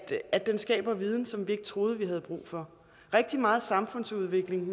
at den skaber viden som vi ikke troede vi havde brug for rigtig meget samfundsudvikling